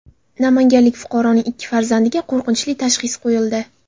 Namanganlik fuqaroning ikki farzandiga qo‘rqinchli tashxis qo‘yildi.